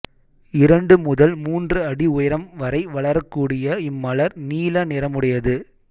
இரண்டு முதல் மூன்று அடி உயரம் வரை வளரக்கூடிய இம்மலர் நீல நிறமுடையது